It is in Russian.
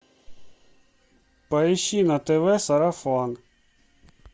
поищи на тв сарафан